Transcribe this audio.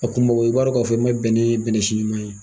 A kumao i b'a don k'a fɔ n ka bɛnɛ ye bɛnɛ si ɲuman ye.